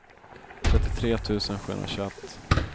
trettiotre tusen sjuhundratjugoett